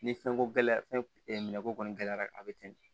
Ni fɛnko gɛlɛyara fɛn min na ko kɔni gɛlɛyara a bɛ ten de